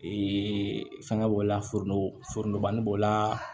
Ee fɛngɛ b'o la foroto banni b'o la